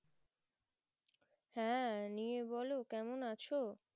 হ্যাঁ নিয়ে বলো কেমন আছো